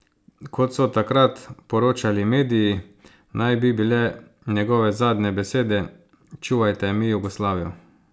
Kot so takrat poročali mediji, naj bi bile njegove zadnje besede: "Čuvajte mi Jugoslavijo".